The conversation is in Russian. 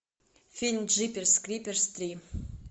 фильм джиперс криперс три